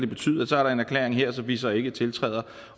betyde at så er der en erklæring her som vi så ikke tiltræder